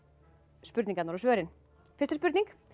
spurningarnar og svörin fyrsta spurning